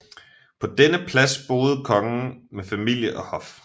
På denne plads boede kongen med familie og hof